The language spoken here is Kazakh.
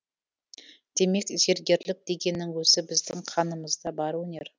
демек зергерлік дегеннің өзі біздің қанымызда бар өнер